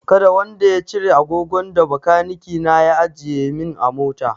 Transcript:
Kada wanda ya cire agogon da bakaniki na ya ajiye min a mota!